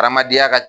Adamadenya ka